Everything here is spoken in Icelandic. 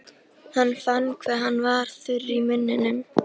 Hann fann hve hann var þurr í munninum.